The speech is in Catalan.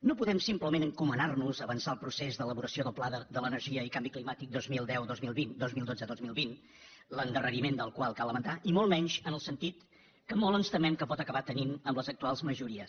no podem simplement encomanar nos a avançar el procés d’elaboració del pla de l’energia i canvi climàtic dos mil dotze dos mil vint l’endarreriment del qual cal lamentar i molt menys en el sentit que molt ens temem que pot acabar tenint amb les actuals majories